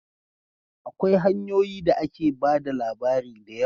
Akwai hanyoyi da ake ba da labari da yawa